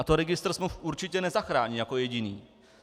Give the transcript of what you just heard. A to registr smluv určitě nezachrání jako jediný.